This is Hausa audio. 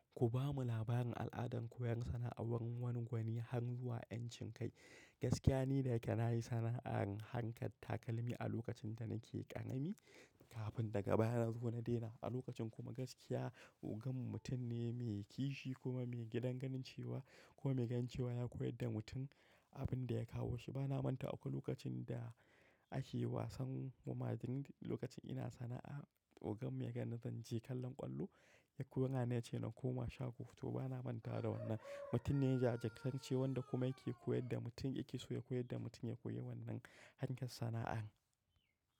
Ku ba mu labarin al'adan koyar sana'ar wani gwanin har zuwa 'yan cin kai. Gaskiya ni daya ke na yi sana'ar harkar takalmi a lokacin da na ke ƙarami kafin daga baya na zo na daina. A lokacin kuma gaskiya, ogan mutum ne mai kishi kuma mai gidan ganin cewa kuma mai ganin cewa ya koyar da mutum abin da ya kawo shi. Bana manta akwai lokacin da ake wasan mu madrid, lokacin ina sana'a, oganmu ya ganni zance kallon ƙwallo ya kora ni ya ce na koma shago. To bana manta da wannan. Mutum ne ya jajirtani cewan da kuma yake koyar da mutum yake so ya koyar da mutum ya koyi wannan harkar sana'ar.